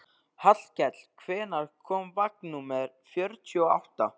Hallkell, hvenær kemur vagn númer fjörutíu og átta?